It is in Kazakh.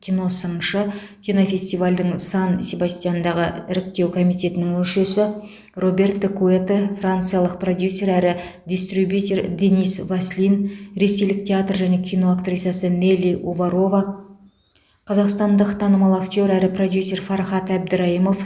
киносыншы кинофестивальдің сан себастьяндағы іріктеу комитетінің мүшесі роберто куэто франциялық продюсер әрі дистрибьютер денис васлин ресейлік театр және кино актрисасы нелли уварова қазақстандық танымал актер әрі продюсер фархат әбдірайымов